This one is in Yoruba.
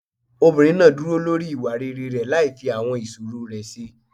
Obìnrin náà dúró lórí ìwà rere rẹ̀ láì fi àwọn ìṣòro rẹ̀ ṣe.